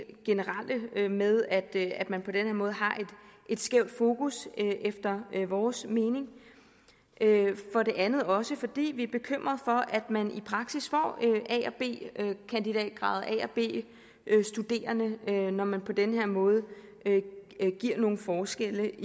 generelle med at man på den her måde har et skævt fokus efter vores mening for det andet er det også fordi vi er bekymret for at man i praksis får a og b kandidatgrader a og b studerende når man på den her måde giver nogle forskelle